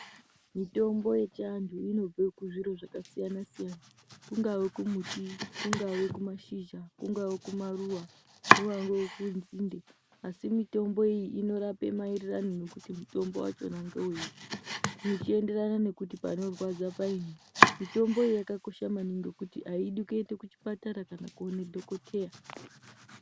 Mitombo yechiantu inobve kuzviro zvakasiyana siyana kungave kumuti, kungave kumashizha, kungave kumaruva, kungave kunzinde asi mitombo iyi inorape maererano nekuti mutombo ngewei zvichienderana nekuti panorwadza paini. Mitombo iyi yakakosha maningi ngekuti aidi kuenda kuchipatara kana kuone dhokodheya.